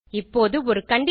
இப்போது ஒரு கண்டிஷன்